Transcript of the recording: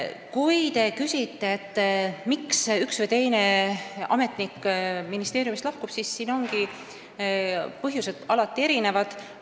Kui te küsite, miks üks või teine ametnik ministeeriumist lahkub, siis põhjused on ju alati erinevad.